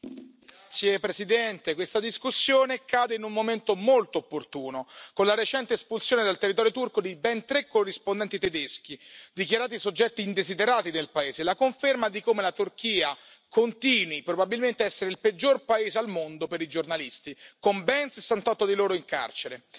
Signor Presidente, onorevoli colleghi, questa discussione cade in un momento molto opportuno, con la recente espulsione dal territorio turco di ben 3 corrispondenti tedeschi dichiarati soggetti indesiderati dal paese. È la conferma di come la Turchia continui probabilmente ad essere il peggior paese al mondo per i giornalisti, con ben 68 di loro in carcere.